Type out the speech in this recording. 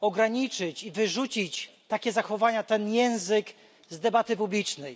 ograniczyć i wyrzucić takie zachowania, ten język z debaty publicznej.